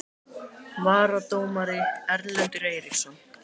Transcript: Varadómari: Erlendur Eiríksson